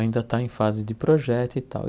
Ainda está em fase de projeto e tal.